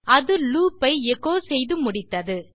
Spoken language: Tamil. அது லூப் ஐ எச்சோ செய்து முடித்தது